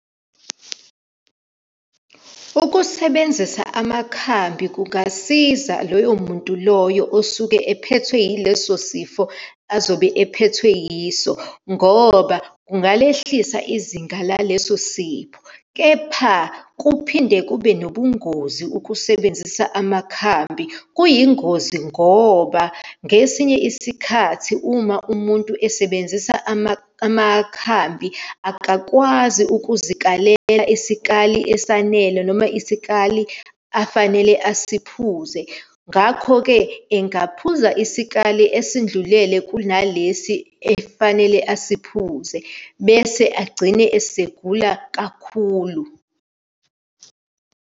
Ukusebenzisa amakhambi kungasiza loyo muntu loyo osuke ephethwe yileso sifo azobe aphethwe yiso, ngoba kungalehlisa izinga laleso sifo. Kepha kuphinde kube nobungozi ukusebenzisa amakhambi. Kuyingozi ngoba ngesinye isikhathi uma umuntu esebenzisa amakhambi akakwazi ukuzikalela isikali esanele, noma isikali afanele asiphuzise. Ngakho-ke engaphuza isikali esindlulele kunalesi efanele asiphuze bese agcine esegula kakhulu.